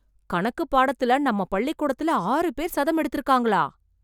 கணக்கு பாடத்துல நம்ம பள்ளிக் கூடத்தில ஆறு பேர் சதம் எடுத்துருக்காங்களா?